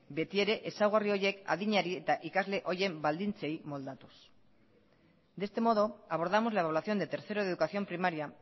beti ere ezaugarri horiek adinari eta ikasle horien baldintzei moldatuz de este modo abordamos la evaluación de tercero de educación primaria